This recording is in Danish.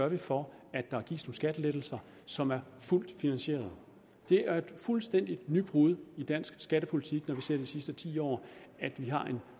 vi for at der gives nogle skattelettelser som er fuldt finansieret det er et fuldstændigt nybrud i dansk skattepolitik når vi ser på de sidste ti år at vi har en